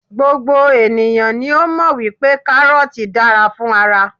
gbogbo eniyan ni o mọ wipe karọọti dára fún ara